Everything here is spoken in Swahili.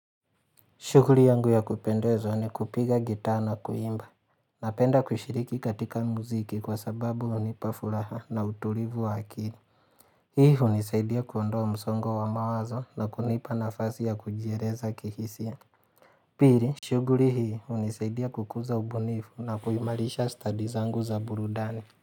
Shuguri yangu ya kupendezwa ni kupiga gitaa na kuimba. Napenda kushiriki katika muziki kwa sababu unipa furaha na utulivu wa akili. Hii unisaidia kuondoa msongo wa mawazo na kunipa nafasi ya kujiereza kihisia. Piri, shuguri hii unisaidia kukuza ubunifu na kuimalisha stadi zangu za burudani.